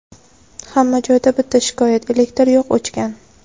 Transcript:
hamma joyda bitta shikoyat: elektr yo‘q, o‘chgan.